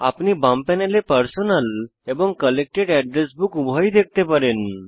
আপনি বাম প্যানেলে পার্সোনাল এবং কালেক্টেড এড্রেস বুক উভয়ই দেখতে পারেন